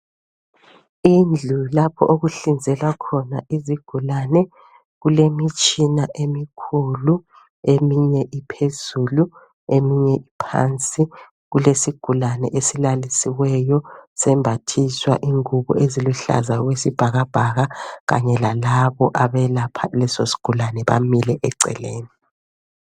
indlu lapho oluhlinzelwa khona izigulane kulemitshina emikhulu eminye iphezulu eminye iphansi kulesigulane esilalisiweyo sembathiswa izingubo eziluhlaza okwesibhakabhaka kanye lalabo abelapha leso sigulane bamile eceleni